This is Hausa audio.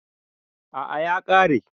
A'a ya kare